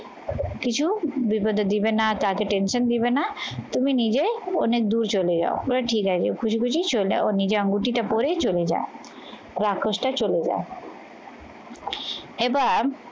কিছু বিপদে দিবে না তাতে tension দিবে না তুমি নিজে অনেক দূর চলে যাও। বলে ঠিক আছে খুঁজে খুঁজে চলে যাও ও নিজে আঙুটিটা পড়ে চলে যায় রাক্ষসটা চলে যায় এবার